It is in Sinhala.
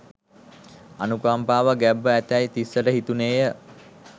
අනුකම්පාවක් ගැබ්ව ඇතැයි තිස්සට හිතුණේය